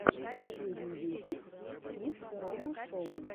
последний выпуск кидс рома шоу